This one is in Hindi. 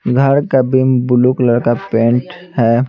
घर का बीम ब्लू कलर का पेंट है।